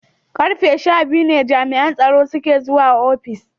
Karfe sha biyu ne jami'an tsaro suka zo ofishin.